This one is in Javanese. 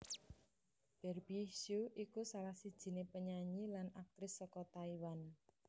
Barbie hsu iku salah sijiné penyanyi lan aktris saka Taiwan